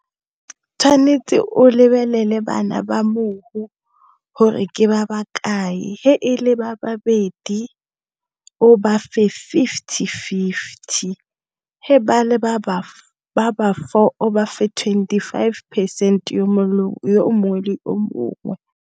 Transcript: Tshwanetse o lebelele bana ba mohu gore ke ba bakae ga e le babedi o ba fe fifty-fifty, ga e le ba ba four o ba fe twenty five percent yo mongwe le mongwe.